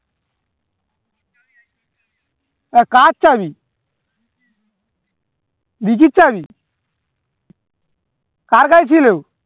এ কার চাবি ঋজীর চাবি কার কাছে ছিল